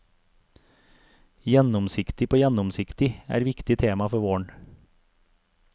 Gjennomsiktig på gjennomsiktig er viktig tema for våren.